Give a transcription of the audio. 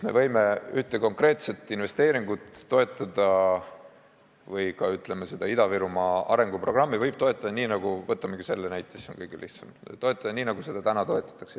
Me võime ühte konkreetset investeeringut toetada või ka seda Ida-Virumaa arenguprogrammi võib toetada nii – võtamegi selle näite, siis on kõigil lihtsam – nagu seda täna toetatakse.